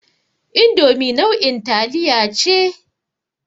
Indomi nau'in taliya ce.